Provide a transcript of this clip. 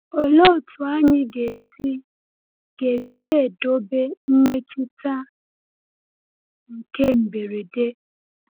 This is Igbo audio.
Olee otu anyị ga-esi ga-esi edobe mmetụta nke mberede?